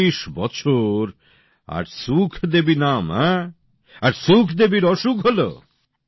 ৪০ বছর আর সুখদেবী নাম আর সুখদেবীর অসুখ হল